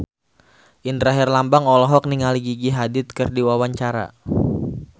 Indra Herlambang olohok ningali Gigi Hadid keur diwawancara